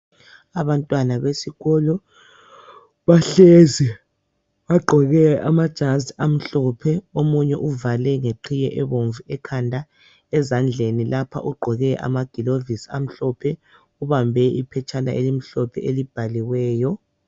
Abantwana besikolo bahlezi bagqoke amajazi amhlophe omunye uvale ngeqhiye ebomvu ekhanda. Ezandleni lapha ugqoke amagilovisi amhlophe ubambe iphetshana elimhlophe elibhaliweyo.